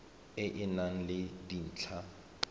e e nang le dintlha